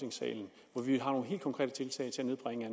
vi om helt konkrete tiltag til at nedbringe